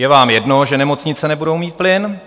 Je vám jedno, že nemocnice nebudou mít plyn.